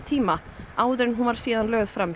hún var síðan lögð fram hjá lögreglu